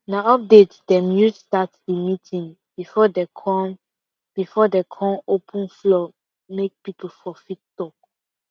na update dem use start the meeting before dem kon before dem kon open floor make people for fit talk